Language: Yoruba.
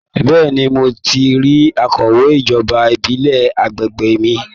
Bẹ́ẹ̀ni, mo ti rí akọ̀wé ijoba ìbílẹ̀ àgbègbè mi